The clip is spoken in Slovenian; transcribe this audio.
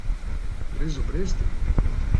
Brez obresti!